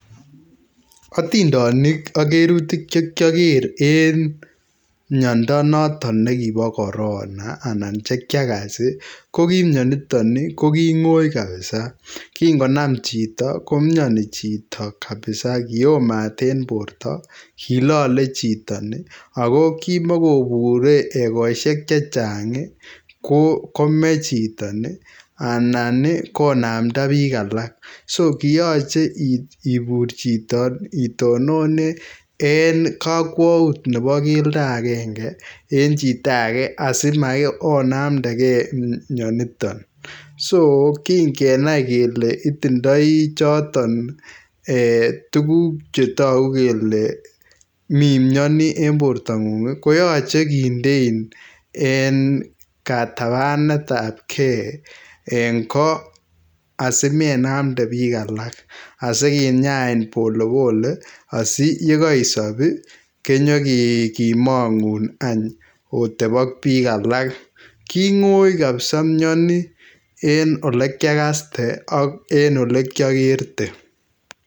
Atindonik ak kerutik che kyoker en miondo noton ne kibo Corona anan che kyakas ii, ko ki mioniton ii, ko ki ngoi kabisa, ki ngonam chito komioni chito kabisa kio mat en borta, kilole chiton ii, ako kimokobure ekosiek che chang ii kome chiton ii anan ko namda piik alak, so kiyoche ibur chito itonone en kakwaut nebo keldo akenge en chito age asi onamdakei mioniton. So ki ngenai kele itindoi choton um tukuk che toku kele mi mioni en bortang'ung ii, koyache kindein en katabanetabkei en go asi menamde piik alak, asi kinyain polepole asi ye kaisob ii kenyikemong'un oteb ak piik alak, king'oi kapsa mioni en olekyakaste ak en olekyakerte.